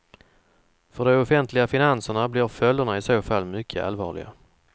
För de offentliga finanserna blir följderna i så fall mycket allvarliga.